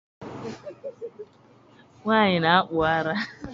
Nwaanyị na-akpụ ara